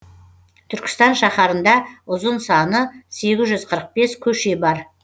түркістан шаһарында ұзын саны сегіз жүз қырық бес көше бар